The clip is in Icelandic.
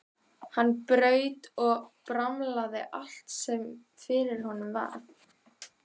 Hann braut og bramlaði allt sem fyrir honum varð.